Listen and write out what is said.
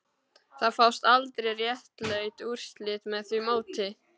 Það fást aldrei réttlát úrslit með því móti